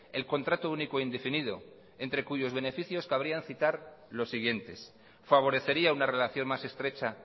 el contrato único indefinido entre cuyos beneficios cabría citar los siguientes favorecería una relación más estrecha